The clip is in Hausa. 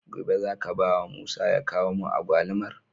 Gobe zaka bawa musa ya kawo mun agwalumar?